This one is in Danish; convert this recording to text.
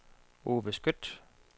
Ove Skøtt